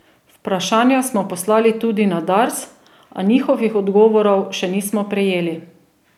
Vprašanja smo poslali tudi na Dars, a njihovih odgovorov še nismo prejeli.